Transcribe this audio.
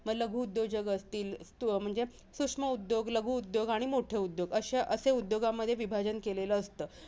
मग लघु उद्योजक असतील अं म्हणजे सूक्ष्म उद्योग लघुउद्योग आणि मोठे उद्योग असे असे उद्योगामध्ये विभाजन केले असतं.